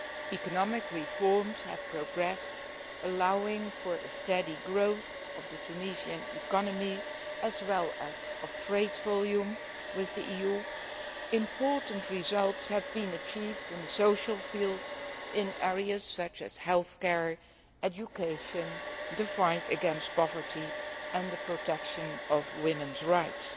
Economic reforms have progressed, allowing for a steady growth of the Tunisian economy as well as of trade volume with the EU. Important results have been achieved in the social field, in areas such as health care, education, the fight against poverty and the protection of women's rights.